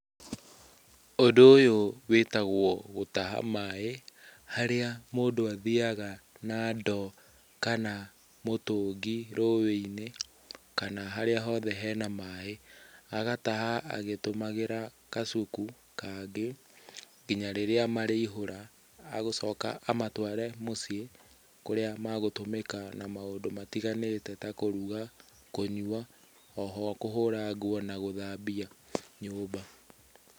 Ũndũ ũyũ wĩtagwo gũtaha maaĩ harĩa mũndũ athiyaga na ndoo kana mũtũngi rũĩ-inĩ kana harĩa hothe hena maaĩ. Agataha agĩtũmagĩra kasuku kangĩ nginya rĩrĩa marĩihũra. Agũcoka amatware mũciĩ kũrĩa magũtũmĩka na maũndũ matiganĩte ta kũruga, kũnyua, kũhũra nguo na gũthambia nyũmba.